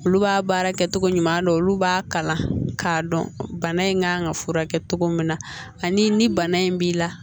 Olu b'a baara kɛ cogo ɲuman dɔn olu b'a kalan k'a dɔn bana in kan ka furakɛ cogo min na ani ni bana in b'i la